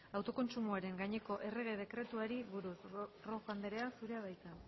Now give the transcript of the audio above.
autokontsumoaren gaineko errege dekretuari buruz rojo anderea zurea da hitza